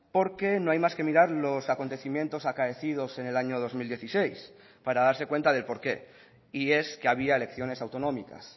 porque no hay más que mirar los acontecimientos acaecidos en el año dos mil dieciséis para darse cuenta del porqué y es que había elecciones autonómicas